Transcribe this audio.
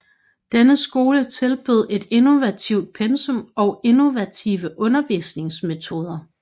Denne skole tilbød et innovativt pensum og innovative undervisningsmetoder